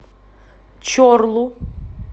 чорлу